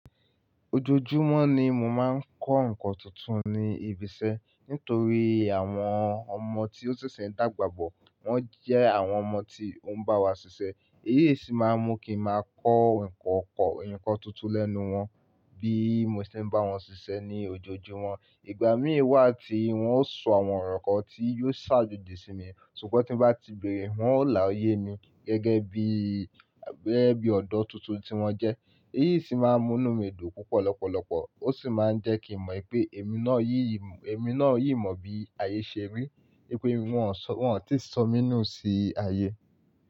Ojoojúmọ́ ni mo máa ń kọ́ nǹkan tuntun ní ibi iṣẹ́ nítorí àwọn ọmọ tí ó ṣẹ̀ṣẹ̀ ń dàgbà bọ̀. Wọ́n jẹ́ àwọn ọmọ tí ó ń bá wa ṣiṣẹ́. Èyí sì máa ń mú kí n máa kọ́ nǹkan kọ́, nǹkan tuntun lẹ́nu wọn bí mo ṣe ń bá wọn ṣiṣẹ́ ní ojoojúmọ́. Ìgbà mìíràn wà tí wọ́n ó sọ àwọn ọ̀rọ̀ kan tí yóò ṣàjòjì sí mi, ṣùgbọ́n tín bá ti bẹ̀erẹ̀, wọn ó là yé mi gẹ́gẹ́ bí, gẹ́gẹ́ bí ọ̀dọ́ tuntun tí wọ́n jẹ́. Èyí sì máa ń mú inú mi dùn púpọ̀ lọ́pọ̀lọpọ̀. Ó sì máa ń jẹ́ kí n mọ̀ wipé èmi náà yí, èmi náà yí mọ̀ bí ayé ṣe rí. Pé wọn ò tíì sọ̀ mí nù sí ayé.